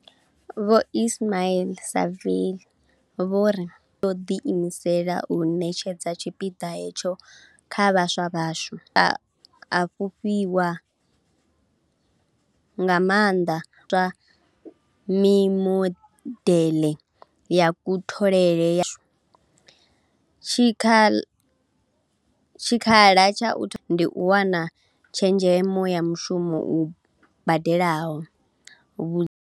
Vho Ismail-Saville vho ri, YES yo ḓiimisela u ṋetshedza tshipiḓa hetsho kha vhaswa vhashu, vha a fhufhiwa nga maanḓa hu tshi shumiswa mimodeḽe ya kutholele, tshikha la tsha u thoma tsha ndeme ndi u wana tshezhemo ya mushumo u badelaho.